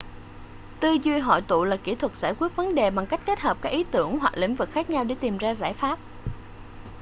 tư duy hội tụ là kỹ thuật giải quyết vấn đề bằng cách kết hợp các ý tưởng hoặc lĩnh vực khác nhau để tìm ra giải pháp